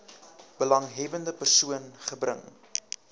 belanghebbende persoon gebring